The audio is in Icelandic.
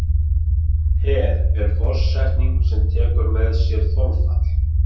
Per er forsetning sem tekur með sér þolfall.